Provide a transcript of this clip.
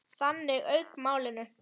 Þannig lauk málinu.